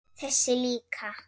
Þessi líka